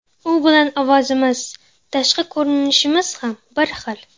U bilan ovozimiz, tashqi ko‘rinishimiz ham bir xil.